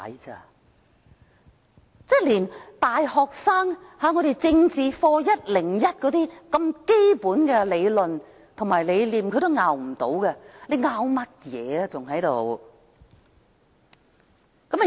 他們連大學生政治課101的基本理論和理念也無法反駁，還在此爭拗甚麼呢？